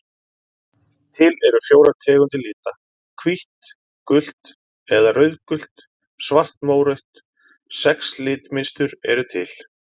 Til eru fjórar tegundir lita: hvítt gult eða rauðgult svart mórautt Sex litmynstur eru til.